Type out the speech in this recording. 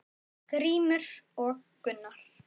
Grímur og Gunnar.